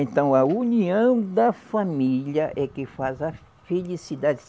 Então, a união da família é que faz a felicidade.